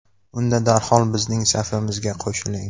Unda darhol bizning safimizga qo‘shiling!.